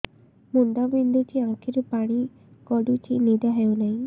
ମୁଣ୍ଡ ବିନ୍ଧୁଛି ଆଖିରୁ ପାଣି ଗଡୁଛି ନିଦ ହେଉନାହିଁ